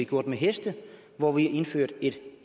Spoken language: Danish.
gjort med heste hvor vi har indført et